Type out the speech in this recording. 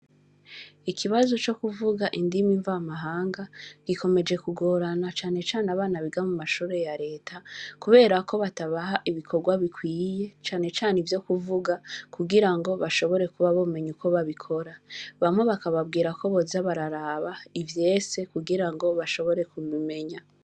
Ikibazo cokuvuga indimi mvamahanga, gikomeje kugorana cane cane abana biga mumashure Ya Reta, Kubera ko batabaha ibikorwa bikwiye, Cane cane ivyo kuvuga kugira ngo bashobore kuba bogira Uko babikora bamwe bakababwira ko boza bararababivyese. kugira bashobore kubimenya.